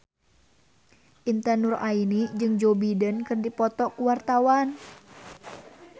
Intan Nuraini jeung Joe Biden keur dipoto ku wartawan